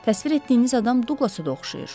Təsvir etdiyiniz adam Duqlasa da oxşayır.